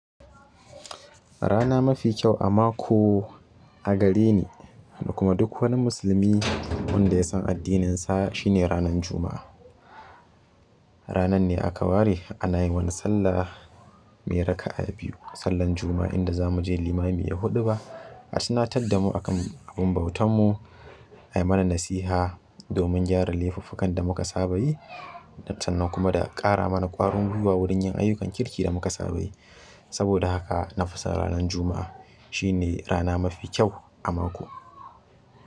Rana mafi kyau a mako a gare ni da kuma duk wani musulmi wanda ya san addininsa shine ranan Juma'a. Ranar ne aka ware ana yi wa ni sallah mai raka'a biyu, sallan Juma'a inda za mu je limami ya huɗu ba. A tuna tardamu akan abun bautanmu, a yi mana nasiha domin gyara laifuffukan da muka saba yi, sannan kuma da ƙara mana ƙwarin guiwa wurin yin ayyukan kirki da muka saba yi. Saboda haka na fi son ranan Juma'a. Shi ne rana mafi kyau a mako.